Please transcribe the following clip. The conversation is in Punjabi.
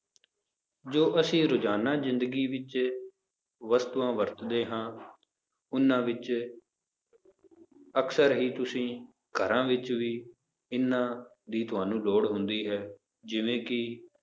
ਜੋ ਅਸੀਂ ਰੁਜ਼ਾਨਾ ਜ਼ਿੰਦਗੀ ਵਿੱਚ ਵਸਤੂਆਂ ਵਰਤਦੇ ਹਾਂ ਉਹਨਾਂ ਵਿੱਚ ਅਕਸਰ ਹੀ ਤੁਸੀਂ ਘਰਾਂ ਵਿੱਚ ਵੀ ਇਹਨਾਂ ਦੀ ਤੁਹਾਨੂੰ ਲੋੜ ਹੁੰਦੀ ਹੈ ਜਿਵੇਂ ਕਿ